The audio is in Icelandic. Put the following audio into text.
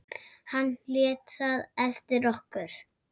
Hann lét það eftir okkur.